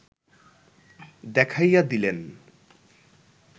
দেখাইয়া দিলেন